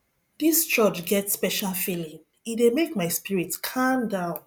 dis church get special feeling e dey make my spirit calm down